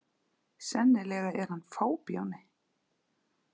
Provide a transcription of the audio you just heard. Sennilega er hann fábjáni.